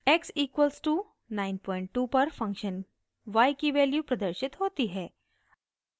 x equals to 92 पर function y की value प्रदर्शित होती है